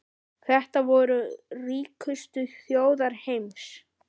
Þetta voru ríkustu þjóðir heims.